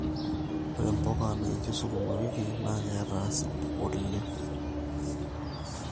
ore mbuka naijo sukuma wiki naa keeta acid alang nkulie